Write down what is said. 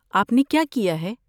آپ نے کیا کِیا ہے؟